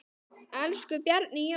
Elsku Bjarni Jón.